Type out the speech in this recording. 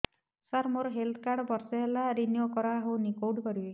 ସାର ମୋର health card ବର୍ଷେ ହେଲା ରିନିଓ କରା ହଉନି କଉଠି କରିବି